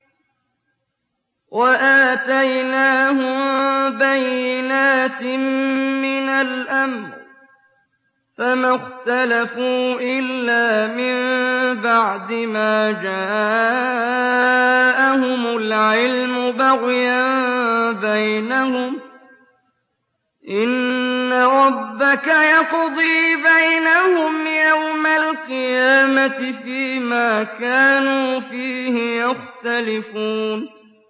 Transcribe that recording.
وَآتَيْنَاهُم بَيِّنَاتٍ مِّنَ الْأَمْرِ ۖ فَمَا اخْتَلَفُوا إِلَّا مِن بَعْدِ مَا جَاءَهُمُ الْعِلْمُ بَغْيًا بَيْنَهُمْ ۚ إِنَّ رَبَّكَ يَقْضِي بَيْنَهُمْ يَوْمَ الْقِيَامَةِ فِيمَا كَانُوا فِيهِ يَخْتَلِفُونَ